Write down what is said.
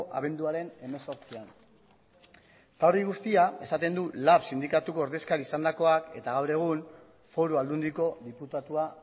abenduaren hemezortzian hori guztia lab sindikatuko ordezkaria izandakoak esaten du eta gaur egun foru aldundiko diputatua